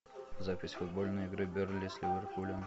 запись футбольной игры бернли с ливерпулем